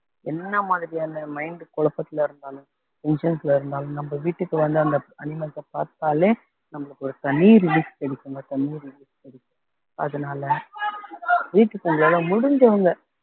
என்ன மாதிரியான mind குழப்பத்துல இருந்தாலும் vengence ல இருந்தாலும் நம்ம வீட்டுக்கு வந்து அந்த animals அ பார்த்தாலே நம்மளுக்கு ஒரு தனி relief கிடைக்கும்ங்க தனி relief கிடைக்கும் அதனால வீட்டுக்கு உங்களால முடிஞ்சவங்க